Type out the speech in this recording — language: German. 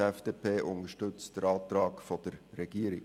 Die FDP unterstützt den Antrag der Regierung.